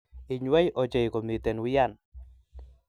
inywei ochei komiten wian